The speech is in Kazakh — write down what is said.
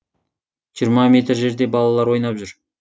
жиырма метр жерде балалар ойнап жүр